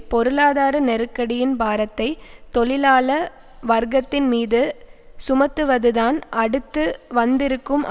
பொருளாதார நெருக்கடியின் பாரத்தை தொழிலாள வர்க்கத்தின் மீது சுமத்துவது தான் அடுத்து வந்திருக்கும்